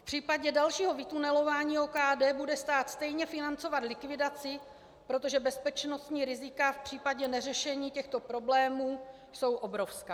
V případě dalšího vytunelování OKD bude stát stejně financovat likvidaci, protože bezpečnostní rizika v případě neřešení těchto problémů jsou obrovská.